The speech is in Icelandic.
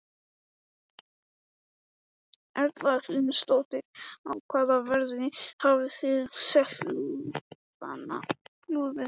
Erla Hlynsdóttir: Á hvaða verði hafið þið selt lúðuna?